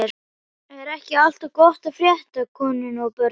Er ekki allt gott að frétta af konunni og börnunum?